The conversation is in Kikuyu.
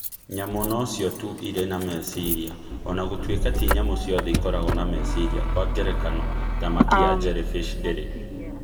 Nyamũ nocio tu irĩ na meciria (o na gũtuĩka ti nyamũ ciothe ikoragwo na meciria; kwa ngerekano, thamaki ya jellyfish ndĩrĩ).